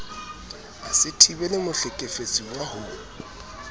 a se thibele mohlekefetsuwa ho